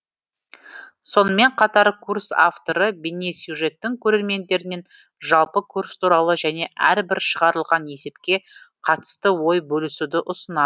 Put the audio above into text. сонымен қатар курс авторы бейнесюжеттің көрермендерінен жалпы курс туралы және әрбір шығарылған есепке қатысты ой бөлісуді ұсына